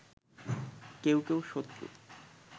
কেউ কেউ শত্রু